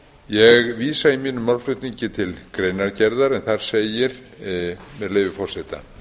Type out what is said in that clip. ég vísa í mínum málflutningi til greinargerðar en þar segir með leyfi forseta